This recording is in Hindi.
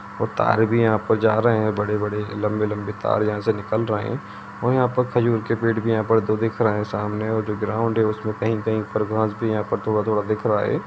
और तार भी है यहा पर जा रह है बड़े-बड़े लम्बे-लम्बे तार यहाँ से निकल रहे है और यहा पर खजूर के पेड़ भी यहाँ पर दो दिख रहे है सामने और जो ग्राउड़ है उस में कही-कही पर घास भी पर थोड़ा-थोड़ा दिख रहा हैं।